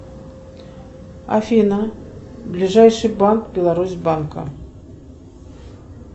афина ближайший банк беларусь банка